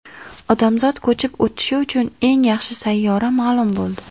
Odamzod ko‘chib o‘tishi uchun eng yaxshi sayyora ma’lum bo‘ldi.